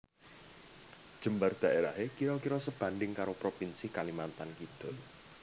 Jembar daerahé kira kira sebanding karo provinsi Kalimantan Kidul